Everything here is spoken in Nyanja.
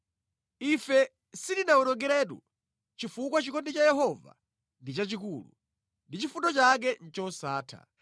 Ife sitinawonongekeretu chifukwa chikondi cha Yehova ndi chachikulu, ndi chifundo chake ndi chosatha.